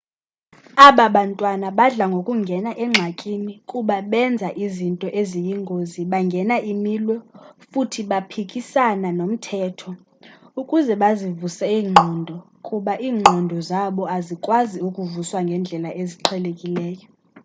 abababantwana badla ngokungena engxakini kuba benza izinto eziyingozi bangena imilwo futhi baphikisana nomthetho ukuze bazivuse iingqondo kuba iingqondo zabu azikwazi ukuvuswa ngendlela eziqhelekileyo